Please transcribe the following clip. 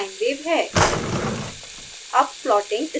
यह discrete sine wave है